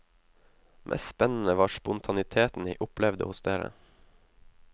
Mest spennende var spontaniteten jeg opplevde hos dere.